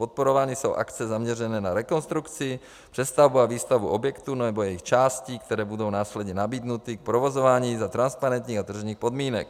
Podporovány jsou akce zaměřené na rekonstrukci, přestavbu a výstavbu objektů nebo jejich částí, které budou následně nabídnuty k provozování za transparentních a tržních podmínek.